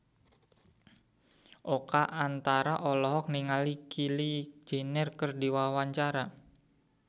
Oka Antara olohok ningali Kylie Jenner keur diwawancara